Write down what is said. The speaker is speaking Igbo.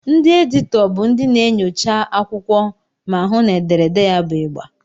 Ndị editọ bụ ndị na-enyocha akwụkwọ ma hụụ na ederede ya bụ ịgba.